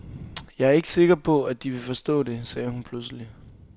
Jeg ikke sikker på, at de vil forstå det, sagde hun pludselig.